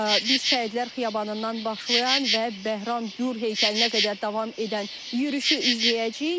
Biz Şəhidlər Xiyabanından başlayan və Bəhram Gur heykəlinə qədər davam edən yürüşü izləyəcəyik.